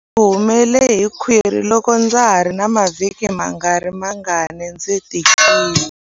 Ndzi humele hi khwiri loko ndza ha ri na mavhiki mangarimangani ndzi tikile.